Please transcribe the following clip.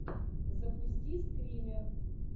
запусти скример